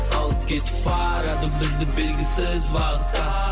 алып кетіп барады бізді белгісіз бағытта